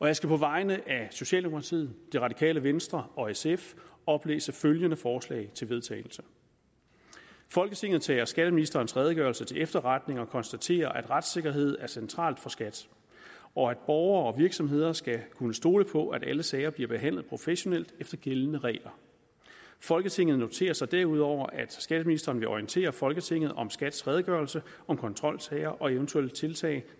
jeg skal på vegne af socialdemokratiet det radikale venstre og sf oplæse følgende forslag til vedtagelse folketinget tager skatteministerens redegørelse til efterretning og konstaterer at retssikkerhed er centralt for skat og at borgere og virksomheder skal kunne stole på at alle sager bliver behandlet professionelt efter gældende regler folketinget noterer sig derudover at skatteministeren vil orientere folketinget om skats redegørelse om kontrolsager og eventuelle tiltag